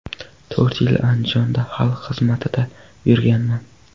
To‘rt yil Andijonda xalq xizmatida yurganman.